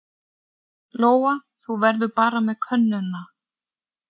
Lóa: Þú verður bara með könnuna?